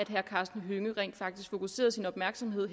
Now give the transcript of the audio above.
herre karsten hønge rent faktisk fokuserede sin opmærksomhed